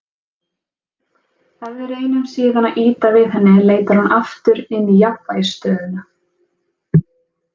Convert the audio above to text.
Ef við reynum síðan að ýta við henni leitar hún aftur inn í jafnvægisstöðuna.